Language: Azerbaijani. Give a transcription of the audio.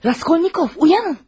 Raskolnikov, oyanın!